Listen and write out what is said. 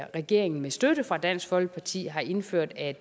regeringen med støtte fra dansk folkeparti har indført at